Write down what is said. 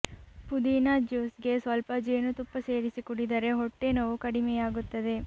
ಪುದೀನ ಜ್ಯುಸ್ ಗೆ ಸ್ವಲ್ಪ ಜೇನುತುಪ್ಪ ಸೇರಿಸಿ ಕುಡಿದರೆ ಹೊಟ್ಟೆನೋವು ಕಡಿಮೆಯಾಗುತ್ತದೆ